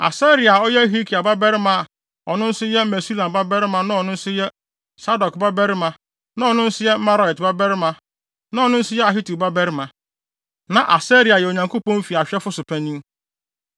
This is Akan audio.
Asaria a ɔyɛ Hilkia babarima a ɔno nso yɛ Mesulam babarima na ɔno nso yɛ Sadok babarima na ɔno nso yɛ Meraiot babarima na ɔno nso yɛ Ahitub babarima. Na Asaria yɛ Onyankopɔn fi ahwɛfo so panyin.